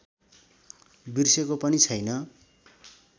बिर्सेको पनि छैन